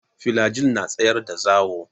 Filajil na tsayar da zawo.